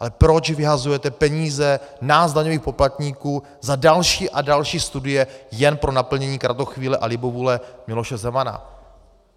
Ale proč vyhazujete peníze nás daňových poplatníků za další a další studie jen pro naplnění kratochvíle a libovůle Miloše Zemana?